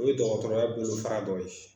U ye dɔgɔtɔrɔya bolofara dɔ ye.